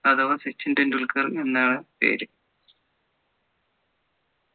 അഥവാ സച്ചിൻ ടെണ്ടുൽക്കർ എന്നാണ് പേര്